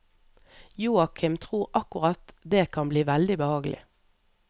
Joakim tror akkurat det kan bli veldig behagelig.